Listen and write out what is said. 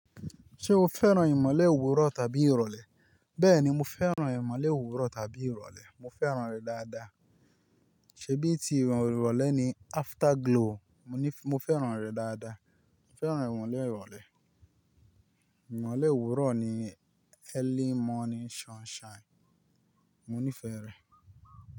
Ṣé o fẹ́ràn ìmọ̀le wúrọ̀ tàbí ìrọ̀lẹ́? Bẹ́ẹ̀ni, mo fẹ́ràn ìmọ̀le òwúrọ̀ tàbí ìrọ̀lẹ́. Mo fẹ́ràn rẹ̀ dáadáa. Ṣèbí tí ìwọ̀n ìrọ̀lẹ́ ni afterglow, mo ní mo fẹ́ràn rẹ̀ dáadáa. Mo fẹ́ràn ìmọ̀le ìrọ̀lẹ́. Ìmọ̀le wúrọ̀ ni early morning sunshine. Mo nífẹ̀ẹ́ rẹ̀.